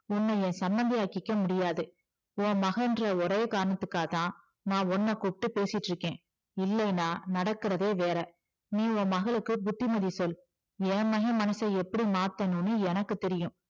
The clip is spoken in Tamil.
உன்னை என் சம்மந்தி ஆக்கிக்க முடியாது உன் மகளுன்ற ஒரே காரணத்துக்காகத்தான் நான் உன்ன கூப்பிட்டு பேசிட்டு இருக்கிறேன் இல்லைனா நடக்குறதே வேற நீ உன் மகளுக்கு புத்திமதி சொல் என் மகன் மனசை எப்படி மாத்தணும்னு எனக்கு தெரியும்